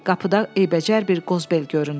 Qapıda eybəcər bir qozbel göründü.